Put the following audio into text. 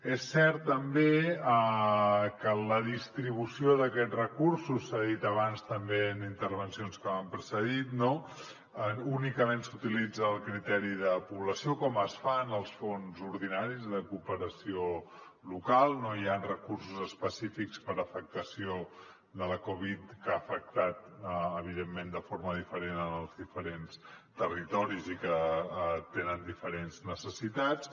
és cert també que en la distribució d’aquests recursos s’ha dit abans també intervencions que m’han precedit no únicament s’utilitza el criteri de població com es fa en els fons ordinaris de cooperació local no hi ha recursos específics per afectació de la covid que ha afectat evidentment de forma diferent en els diferents territoris i que tenen diferents necessitats